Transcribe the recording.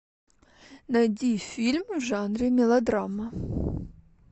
найди фильм в жанре мелодрама